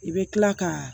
I bɛ kila ka